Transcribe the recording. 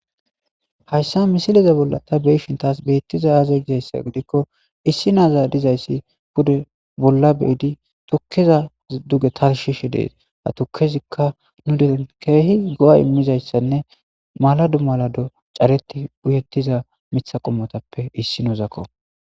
Haysa misileza bolla ta beyishe betizay aze gikko issi nazi de'izaysi pude bolla bidi tukeza duge ha tarisheshe des ha tukezika nu dere kehi go'a immizaysane malado malado cadeti uyetiza mitha qomoppe issinazako